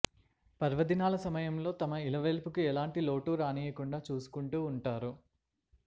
పర్వదినాల సమయంలో తమ ఇలవెల్పుకి ఎలాంటి లోటూ రానీయకుండగా చూసుకుంటూ వుంటారు